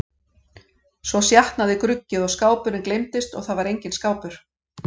Svo sjatnaði gruggið og skápurinn gleymdist og það var enginn skápur.